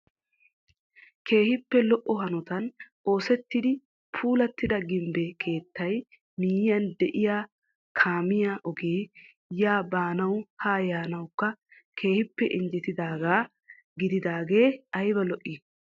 Keehippe lo"o hanotan oosettidi puulattida gimbbe keettaa miyiyaan de'iyaa kaamiyaa ogee yaa baanawu haa yaanawukka keehippe injjettidaagaa gididaagee ayba lo"ii!